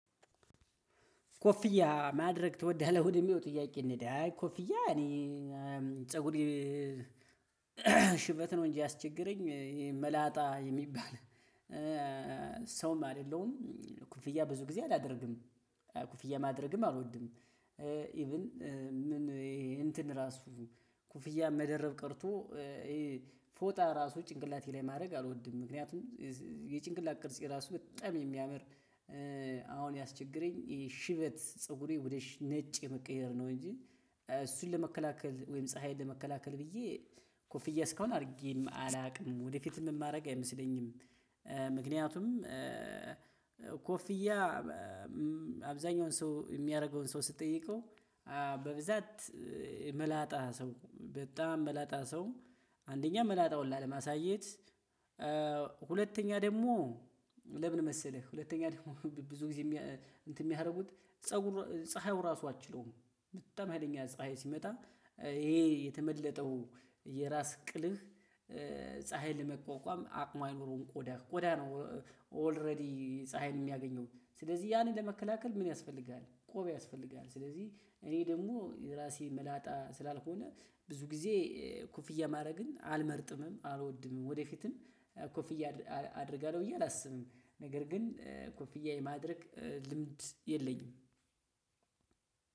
ኮፊያ ማድረግ ትወዳለህ ወደሚለው ጥያቄ? እንሂድ አይ ኮፊያ እኔ ፀጉሬ ሽበት ነው እንጂ ያስቸግረኝ መላጣ የሚባል ሰውም አይደለሁም ኮፍያ ብዙ ጊዜ አላደርግም ኮፍያ ማድረግም አልወድም። ኢቭን ምን እንትን ራሱ ኮፍያ መደረብ ቀርቶ። ፎጣ እራሱ ጭንቅላቴ ላይ ማድረግ አልወድም ምክንያቱም የጭንቅላት ቅርጼ እራሱ በጣም የሚያምር። አሁን ያስቸግረኝ ሽበት ፀጉሬ ወደ ነጭ የመቀየር ነው እንጂ እሱን ለመከላከል ወይም ፀሀይን ለመከላከል ብዬ ኮፍዬ እስካሁን አድርጌ አላውቅም ወደፊትም የማደርግ አይመስለኝም። ምክንያቱም ኮፍያ አብዛኛው ሰው የሚያደርገውን ሰው ስጠይቀው በብዛት መላጣ ሰው በጣም መላጣ ሰው አንደኛ መላጣውን ላለማሳየት። ሁለተኛ ደግሞ ለምን መሰለህ ሁለተኛ ደግሞ ብዙ ጊዜ የሚያደርጉት ፀጉር ፀሀዩ ራሱ አትችለውም በጣም ሀይለኛ ፀሀይ ሲመጣ ይሄ የተመለጠው የራስ ቅልህ ፀሀይን ለመቋቋም አቅሙ ኑሮን ቆዳህ ቆዳህ ነው። ኦልሬዲ ፀሀይን የሚያገኘው ስለዚህ ያንን ለመከላከል ምን ያስፈልጋል ቆብ ያስፈልጋል። ስለዚህ እኔ ደግሞ ራሴ መላጣ ስላልሆነ ብዙ ጊዜ ኮፍያ ማድረግን አልመርጥምም አልወድምም ወደፊትም ኮፍያ አደርጋለሁ ብዬ አላስብም ነገር ግን ኮፍያ የማድረግ ልምድ የለኝም።